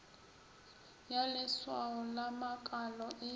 ya leswao la makalo e